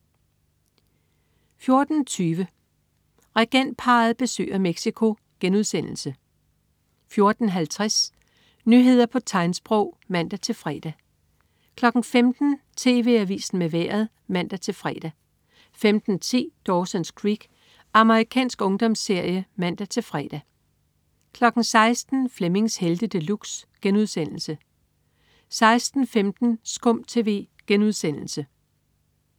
14.20 Regentparret besøger Mexico* 14.50 Nyheder på tegnsprog (man-fre) 15.00 TV AVISEN med Vejret (man-fre) 15.10 Dawsons Creek. Amerikansk ungdomsserie (man-fre) 16.00 Flemmings Helte De Luxe* 16.15 SKUM TV*